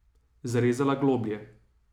Zarezala globlje.